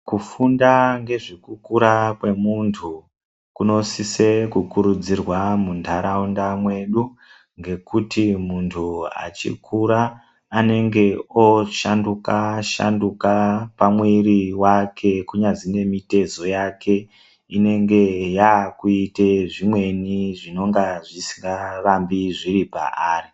Kufunda ngezvekukura kwemuntu kunosise kukurudzirwa muntaraunda mwedu ngekuti muntu achikura anenge oshanduka shanduka pamwiri wake kunyazi nemitezo ingenge yoita zvimweni zvisikarambi zviri paari.